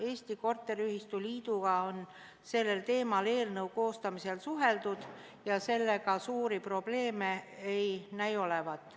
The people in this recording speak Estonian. Eesti Korteriühistute Liiduga on sellel teemal eelnõu koostamisel suheldud ja sellega suuri probleeme ei näi olevat.